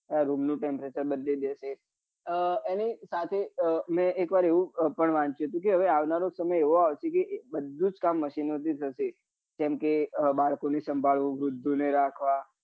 હા રૂમ નું temperature બદલી દેશે એની સાથે મેં એક વાર એવું પણ વાંચ્યું હતું કે આવનારો સમય એવો આવશે કે બધું જ કામ machine ઓ થી થશે જેમ કે બાળકો ને સંભાળવા વૃધો ને રાખવા